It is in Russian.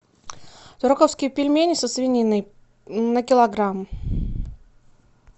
тураковские пельмени со свининой на килограмм